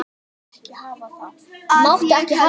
Að ég held.